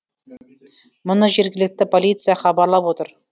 мұны жергілікті полиция хабарлап отыр